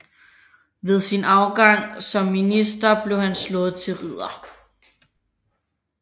Ved sin afgang som minister blev han slået til ridder